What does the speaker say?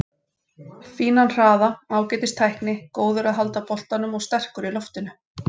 Fínan hraða, ágætis tækni, góður að halda boltanum og sterkur í loftinu.